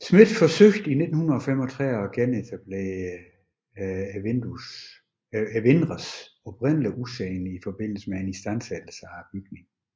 Smidt forsøgte i 1935 at genetablere vinduernes oprindelige udseende i forbindelse med en istandsættelse af bygningen